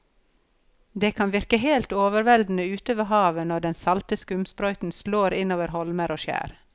Det kan virke helt overveldende ute ved havet når den salte skumsprøyten slår innover holmer og skjær.